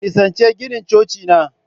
Ku nisanci ginin Coci na!